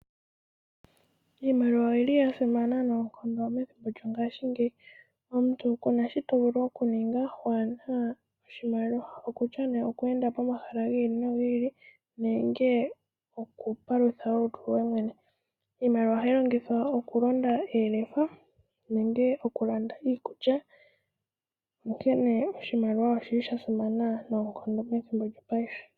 Iimaliwa oyili yasimana noonkondo methimbo lyongashingeyi. Omuntu kuna shi tovulu okuninga waana oshimaliwa okutya nee okweenda pomahala gi ili nogi ili nenge okupalutha olutu lwoye mwene. Iimaliwa ohayi longithwa okulonda oolofa nenge okulanda iikulya, onkene oshimaliwa oshili shasimana noonkondo methimbo lyopaife.